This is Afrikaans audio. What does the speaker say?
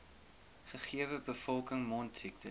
gegewe bevolking mondsiektes